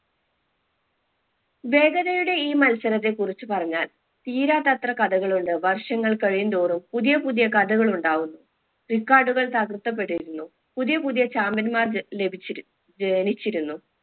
വേഗതയുടെ ഈ മത്സരത്തെ കുറിച്ചു പറഞ്ഞാൽ തീരാത്തത്ര കഥകൾ ഉണ്ട് വർഷങ്ങൾ കഴിയും തോറും പുതിയ പുതിയ കഥകൾ ഉണ്ടാവുന്നു record കൾ തകർക്കപ്പെട്ടിരുന്നു പുതിയ പുതിയ champion മാർ ല ലഭിച്ചിരു ജനിച്ചിരുന്നു